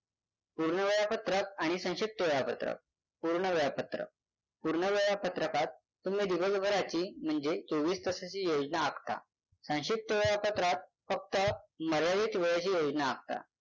पूर्ण वेळापत्रक आणि संक्षिप्त वेळापत्रक. पूर्ण वेळापत्रक. पूर्ण वेळापत्रकात तुम्ही दिवसभराची म्हणजे चोवीस तासांची योजना आखता संक्षिप्त वेळापत्रकात फक्त मर्यादित वेळेची योजना आखता.